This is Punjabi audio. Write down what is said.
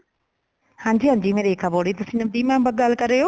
ਹਾਂਜੀ ਹਾਂਜੀ ਮੈਂ ਰੇਖਾ ਬੋਲ ਰਹੀ ਤੁਸੀਂ ਨਵਦੀਪ ma'am ਗੱਲ ਕਰ ਰਹੇ ਹੋ